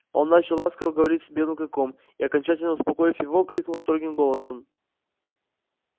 он начал ласково говорить с белым клыком и окончательно успокоив его крикнул строгим голосом